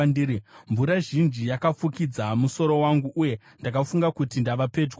mvura zhinji yakafukidza musoro wangu, uye ndakafunga kuti ndava pedyo nokufa.